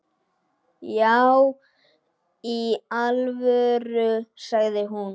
Já í alvöru, sagði hún.